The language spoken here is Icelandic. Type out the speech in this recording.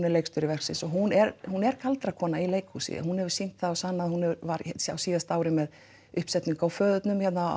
er leikstjóri verksins og hún er hún er galdrakona í leikhúsi hún hefur sýnt það og sannað hún var á síðasta ári með uppsetningu á föðurnum hérna